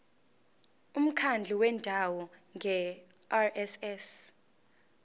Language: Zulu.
umkhandlu wendawo ngerss